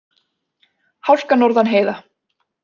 Hálka norðan heiða